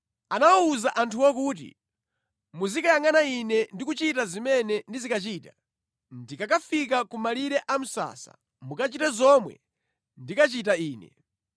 Anawuza anthuwo kuti, “Muzikayangʼana ine ndi kuchita zimene ndizikachita. Ndikakafika kumalire a msasa, mukachite zomwe ndikachita ine.